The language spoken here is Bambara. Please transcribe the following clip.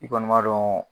I kɔni b'a dɔn